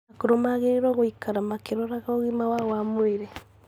Akũrũ magĩrĩirũo gũikara makĩrora ũgima wao wa mwĩrĩ,